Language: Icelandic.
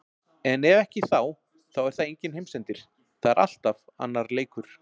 En ef ekki þá er það enginn heimsendir, það er alltaf annar leikur.